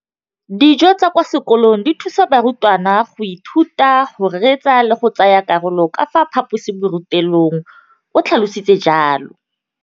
Dijo tsa kwa sekolong dithusa barutwana go ithuta, go reetsa le go tsaya karolo ka fa phaposiborutelong, o tlhalositse jalo.